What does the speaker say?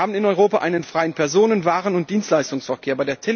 Wir haben in Europa einen freien Personen Waren und Dienstleistungsverkehr.